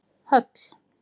Höll